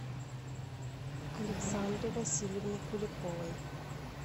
александре васильевне куликовой